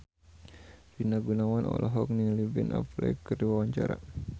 Rina Gunawan olohok ningali Ben Affleck keur diwawancara